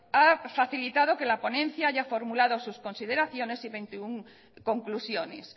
ha facilitado que la ponencia haya formulado sus consideraciones y veintiuno conclusiones